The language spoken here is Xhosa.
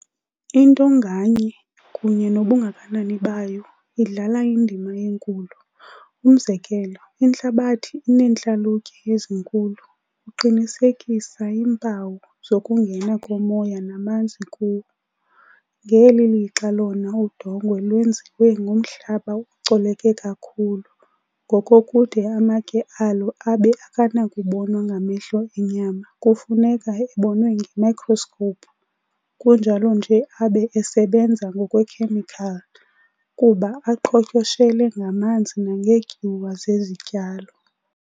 Into ngaye, kunye nobungakanani bayo, indlala indima enkulu. umzekelo, intlabathi ineentlalutye ezinkulu, uqinisekisa iimpawu zokungena komoya namanzi kuwo, ngeli lixa lona udongwe lwenziwe ngomhlaba ocoleke kakhulu, ngokokude amatye alo abe akanakubonwa ngamehlo enyama kufuneka ebonwe ngemicroscope, kunjalo nje abe esebenza ngokwekhemical, kuba aqhotyoshele ngamanzi nangeetyuwa zezityalo.